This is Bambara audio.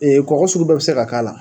kɔgɔ sugu bɛɛ bɛ se ka k'a la.